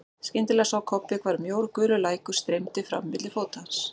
Skyndilega sá Kobbi hvar mjór gulur lækur streymdi fram milli fóta hans.